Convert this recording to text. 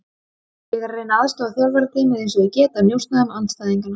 Ég er að reyna að aðstoða þjálfarateymið eins og ég get að njósna um andstæðinganna.